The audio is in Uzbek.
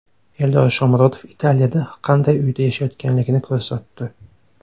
Eldor Shomurodov Italiyada qanday uyda yashayotganligini ko‘rsatdi .